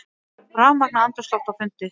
Rafmagnað andrúmsloft á fundi